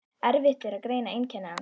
Erfitt er að greina einkenni eins